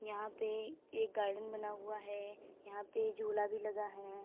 यहां पे एक गार्डन बना हुआ है। यहां पे झूला भी लगा है।